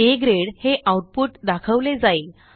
आ grade हे output दाखवले जाईल